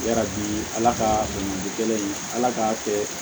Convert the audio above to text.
Yarabi ala ka dɔnkili kelen in ala k'a kɛ